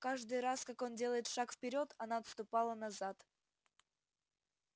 каждый раз как он делает шаг вперёд она отступала назад